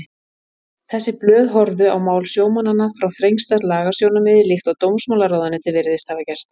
Þessi blöð horfðu á mál sjómannanna frá þrengsta lagasjónarmiði líkt og dómsmálaráðuneytið virðist hafa gert.